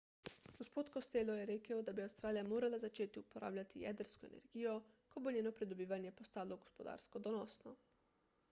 g. costello je rekel da bi avstralija morala začeti uporabljati jedrsko energijo ko bo njeno pridobivanje postalo gospodarsko donosno